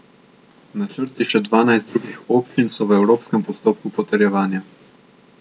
Načrti še dvanajst drugih občin so v evropskem postopku potrjevanja.